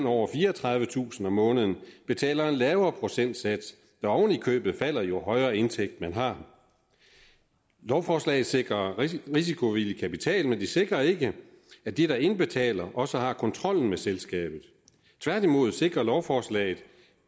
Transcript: over fireogtredivetusind kroner om måneden betaler en lavere procentsats der oven i købet falder jo højere indtægt man har lovforslaget sikrer risikovillig kapital men det sikrer ikke at de der indbetaler også har kontrollen med selskabet tværtimod sikrer lovforslaget